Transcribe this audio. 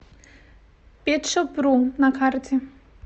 петшопру на карте